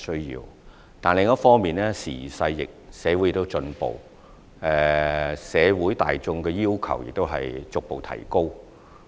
不過，另一方面，時移勢易，社會不斷進步，社會大眾的要求亦已逐步提高。